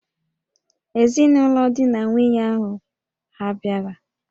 Ezinụlọ di na nwunye ahụ hà bịara?